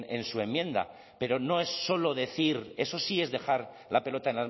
en su enmienda pero no es solo decir eso sí es dejar la pelota